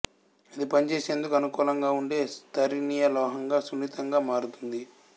అది పనిచేసేందుకు అనుకూలంగా ఉండే స్తరణీయ లోహంగా సున్నితంగా మారుతుంది